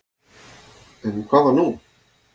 En hvað var nú?